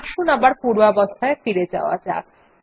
আসুন আবার পূর্বাবস্থায় ফিরে যাওয়া যাক